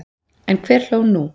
En hver hló nú?